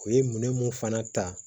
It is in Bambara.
O ye minɛ mun fana ta